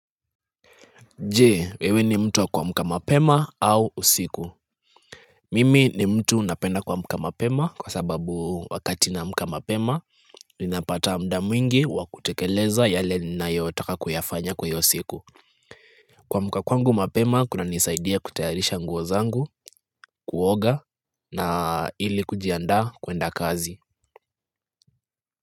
Je, wewe ni mtu wa kuamka mapema au usiku? Mimi ni mtu napenda kuamka mapema kwa sababu wakati naamka mapema, ninapata muda mwingi wa kutekeleza yale ninayoyataka kuyafanya kwa siku hiyo. Kuamka kwangu mapema, kunanisaidia kutayarisha nguo zangu, kuoga na ili kujiandaa kwenda kazi.